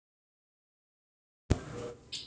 Netið ýti undir það.